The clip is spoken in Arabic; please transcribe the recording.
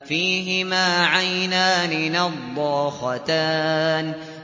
فِيهِمَا عَيْنَانِ نَضَّاخَتَانِ